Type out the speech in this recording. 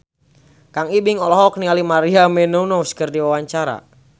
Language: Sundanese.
Kang Ibing olohok ningali Maria Menounos keur diwawancara